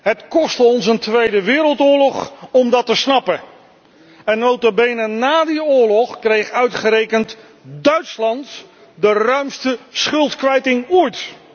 Het kostte ons een tweede wereldoorlog om dat te snappen en, nota bene, na die oorlog kreeg uitgerekend Duitsland de ruimste schuldkwijtschelding ooit.